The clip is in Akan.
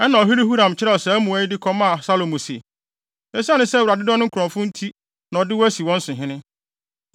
Ɛnna ɔhene Huram kyerɛw saa mmuae yi de kɔmaa Salomo: “Esiane sɛ Awurade dɔ ne nkurɔfo nti na ɔde wo asi wɔn so hene.